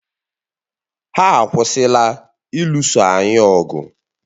Ha akwụsịla ịlụso anyị ọgụ